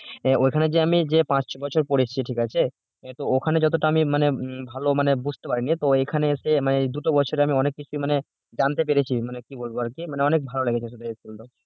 আহ ওখানে যে আমি যে পাঁচ বছর পড়েছি ঠিক আছে ওখানে যতটা আমি মানে ভালো মানে বুঝতে পারিনি তো এখানে হচ্ছে দুটো বছরে আমি অনেক কিছু মানে জানতে পেরেছে মানে কি বলব আর কি মানে অনেক ভালো লেগেছে school টা